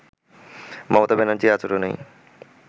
মমতা ব্যানার্জীর আচরনেই